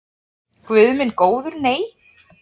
Guð minn góður nei.